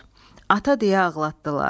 Ata deyə ağlatdılar.